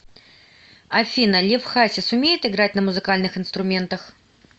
афина лев хасис умеет играть на музыкальных инструментах